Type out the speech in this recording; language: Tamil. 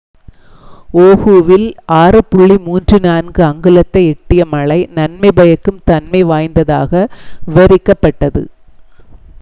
"ஓஹுவில் 6.34 அங்குலத்தை எட்டிய மழை "நன்மை பயக்கும் தன்மை வாய்ந்ததாக" விவரிக்கப்பட்டது.